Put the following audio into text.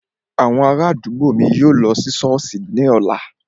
Àwọn ará àdúgbò mi yóò lọ ṣọ́ọ̀ṣì ní ọ̀la